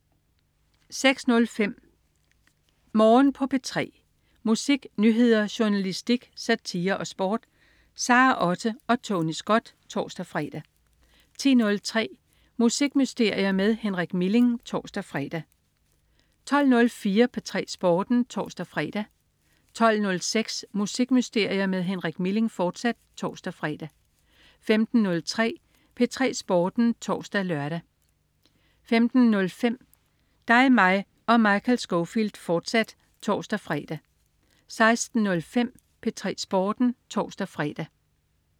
06.05 Morgen på P3. Musik, nyheder, journalistik, satire og sport. Sara Otte og Tony Scott (tors-fre) 10.03 Musikmysterier med Henrik Milling (tors-fre) 12.04 P3 Sporten (tors-fre) 12.06 Musikmysterier med Henrik Milling, fortsat (tors-fre) 15.03 P3 Sporten (tors-lør) 15.05 Dig, mig og Michael Scofield, fortsat (tors-fre) 16.05 P3 Sporten (tors-fre)